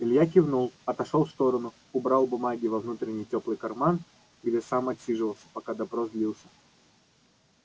илья кивнул отошёл в сторону убрал бумаги во внутренний тёплый карман где и сам отсиживался пока допрос длился